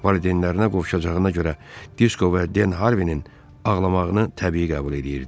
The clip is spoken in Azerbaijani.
Valideynlərinə qovuşacağına görə Disko və Den Harvining ağlamağını təbii qəbul eləyirdi.